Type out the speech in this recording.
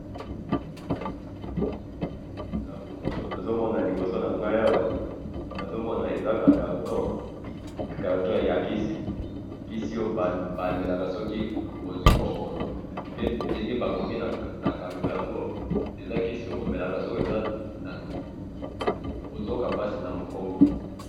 na photo oyo na zomoni liboso nanga awa eza carton ya kisi kisi oyo ba melaka soki ozwi bokono pe denge bakomi na carton yango eza kisi omelaka soki ozo yoka pasi na mokongo